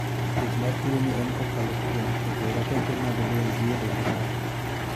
Thieth mar tuo ni en kokalo kuom keto rateke mag del gi e dend ng'ato.